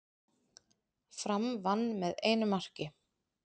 Fram vann með einu marki